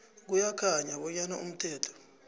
kuyakhanya bonyana umthetho